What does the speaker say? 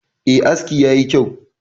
E, aski yaki kyau.